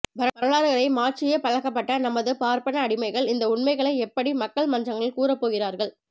வரலாறுகளை மாற்றியே பழக்கப்பட்ட நமது பார்பன அடிமைகள் இந்த உண்மைகளை எப்படி மக்கள் மன்றங்களில் கூறப்போகிறார்கள்